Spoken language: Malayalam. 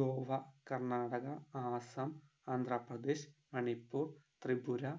ഗോവ കർണാടക ആസാം ആന്ത്രാപ്രദേശ് മണിപ്പുർ ത്രിപുര